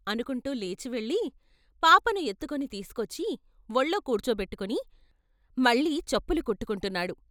' అనుకుంటూ లేచి వెళ్ళి పాపను ఎత్తుకుని తీసుకొచ్చి వొళ్ళో కూర్చోపెట్టుకుని మళ్ళీ చెప్పులు కుట్టుకుంటున్నాడు.